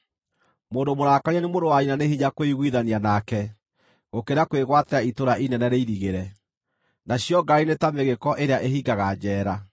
Mũndũ mũrakarie nĩ mũrũ wa nyina nĩ hinya kwĩiguithania nake gũkĩra kwĩgwatĩra itũũra inene rĩirigĩre, nacio ngarari nĩ ta mĩgĩĩko ĩrĩa ĩhingaga njeera.